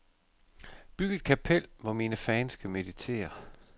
Byg et kapel, hvor mine fans kan meditere.